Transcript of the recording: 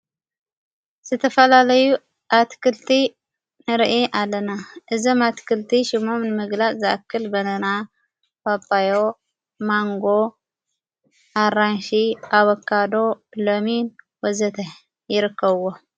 ስተፈላለዩ ኣትክልቲ ንርኢ ኣለና እዘም ኣትክልቲ ሹሞም ንምግላእ ዝኣክል በነና ባባዮ ማንጎ ኣራንሽ ኣበካዶ ሎሚን ወዘተ ይርከብዎ።